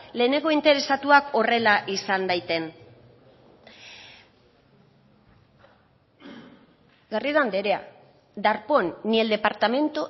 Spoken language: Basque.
lehenengo interesatuak horrela izan daiten garrido anderea darpón ni el departamento